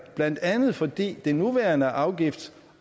blandt andet fordi det nuværende afgifts